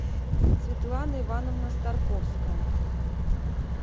светлана ивановна старковская